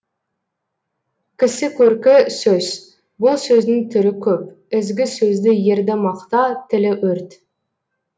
кісі көркі сөз бұл сөздің түрі көп ізгі сөзді ерді мақта тілі өрт